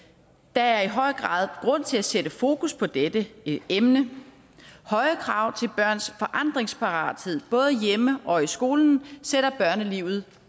der er i høj grad grund til at sætte fokus på dette emne høje krav til børns forandringsparathed både hjemme og i skolen sætter børnelivet